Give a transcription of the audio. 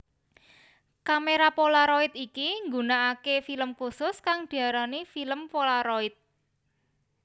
Kamera polaroid iki nggunakake film khusus kang diarani film polaroid